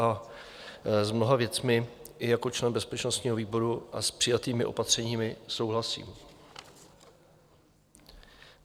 A s mnoha věcmi i jako člen bezpečnostního výboru i s přijatými opatřeními souhlasím.